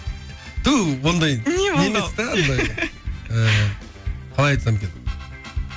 ыыы қалай айтсам екен